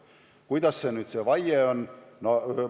Kuidas nüüd selle vaidega on?